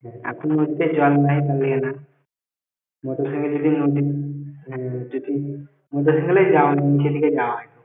হ্যাঁ এখন হচ্ছে জল হয় তালিয়ে না motorcycle যদি নদী motorcycle এই যাওয়া হয় নিচের দিকে যা হয় না।